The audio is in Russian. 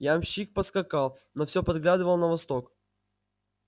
ямщик поскакал но всё поглядывал на восток